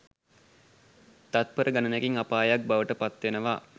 තත්පර ගණනකින් අපායක් බවට පත් වෙනවා.